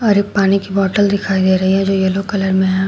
और एक पानी की बॉटल दिखाई दे रही है जो येलो कलर में है।